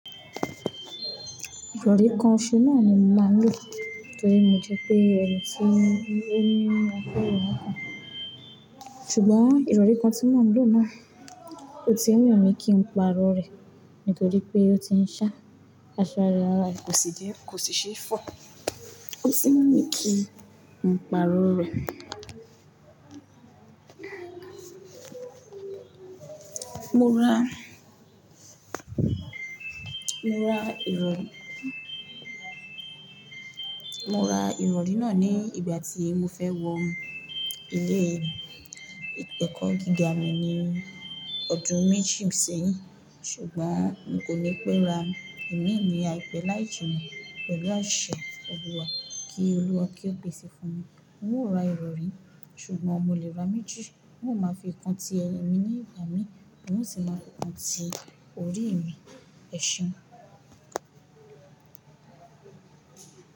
Ìrọ̀rí kan ṣọ́so naa ni mo máa ń lò, torí mo jẹ́ pé ẹ̀mí ti ń mú ọkọ́ ìrọ̀rí mi. Ṣùgbọ́n ìrọ̀rí kan tí mò ń lò náà kò tíì wù mí kí n pàrọ̀ rẹ̀, nítorí pé ó ti ń ṣá, aṣọ araẹ̀ kọsì sẹ̀, kò sì ṣe é fọ́, ò sì wú mi kí n pàrọ̀ rẹ̀. Mo ra, mo ra ìrọ̀, mo ra ìrọ̀rí náà ní ìgbà tí mo fẹ́ wọ ilé ẹ̀kọ́ gíga mi ní ọdún meji sẹ́yìn. Sugbon n ko ni pe ra imi ni aipe laininna pelu ase oluwa, ki oluwa ki o pese funmi. N ó ra ìrọ̀rí, ṣùgbọ́n mo lè ra méjì. N ó máa fi kan ti ẹ̀mí ní ìgbà mí, n ó sì máa kan ti orí mi. Ẹ̀ṣeun.